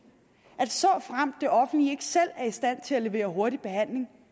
at såfremt det offentlige selv er i stand til at levere hurtig behandling